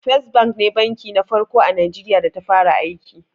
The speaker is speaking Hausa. First Bank ne banki na farko a Najeriya da ta fara aiki.